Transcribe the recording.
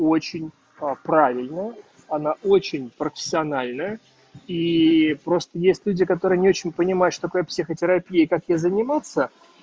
очень правильно она очень профессиональная и просто есть люди которые не очень понимают что такое психотерапия и как ей заниматься